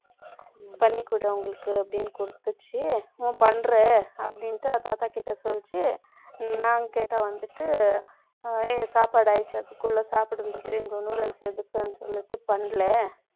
பண்ணி கொடு உங்களுக்கு, அப்படின்னு கொடுத்துச்சு. உன் பண்றேன், அப்படின்னுட்டு, அ தாத்தா கிட்ட சொல்லுச்சு. ம். நான் கேட்டா வந்துட்டு, சாப்பாடு ஆயிடுச்சு, அதுக்குள்ள சாப்பிடுங்க, எதுக்குன்னு சொல்லிட்டு, பண்ணலை.